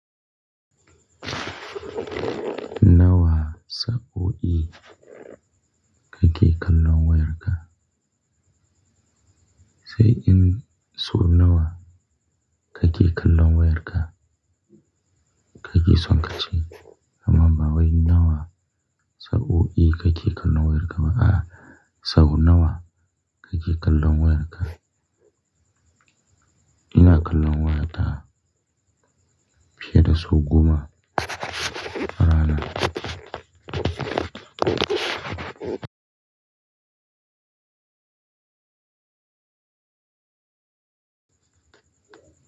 Nawa sa'o'i kake kallon wayarka? Sai in so nawa kake kallo wayarka? Kake son ka ce amma ba wai nawa sa'o'i kake kallon wayarka ba a'a sau nawa kake kallon wayarka ina kallo wayata fiye da sau goma a rana.